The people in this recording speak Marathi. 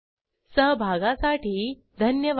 सहभागासाठी धन्यवाद